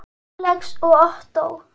Alex og Ottó.